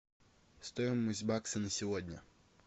стоимость бакса на сегодня